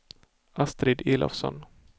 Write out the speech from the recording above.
Astrid Elofsson